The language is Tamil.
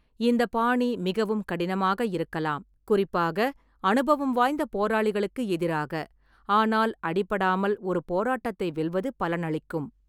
இந்த பாணி மிகவும் கடினமாக இருக்கலாம், குறிப்பாக அனுபவம் வாய்ந்த போராளிகளுக்கு எதிராக, ஆனால் அடிபடாமல் ஒரு போராட்டத்தை வெல்வது பலனளிக்கும்.